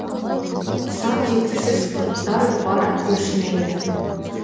сан жеткісіз құрттар бар өршімелі